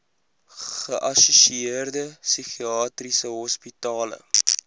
geassosieerde psigiatriese hospitale